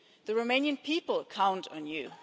The Romanian people count on you!